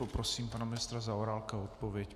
Poprosím pana ministra Zaorálka o odpověď.